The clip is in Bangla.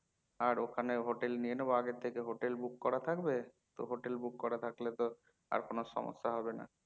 আর ওখানে হোটেল নিয়ে নেবো আগে থেকে হোটেল book করা থাকবে তো হোটেল book করা থাকলে তো আর কোনো সমস্যা হবে না